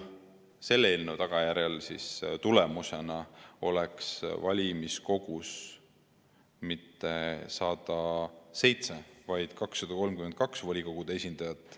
Selle eelnõu tulemusena poleks valimiskogus mitte 107, vaid 232 volikogude esindajat.